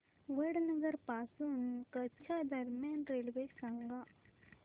वडनगर पासून कच्छ दरम्यान रेल्वे सांगा